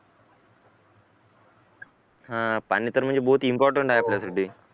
पाणी तर म्हणजे बहुत इम्पॉर्टंट आहे आपल्यासाठी